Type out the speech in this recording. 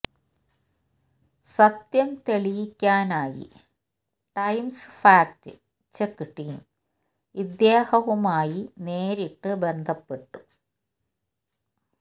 സത്യം തെളിയിക്കാനായി Times fact check team ഇദ്ദേഹവുമായി നേരിട്ട് ബന്ധപ്പെട്ടു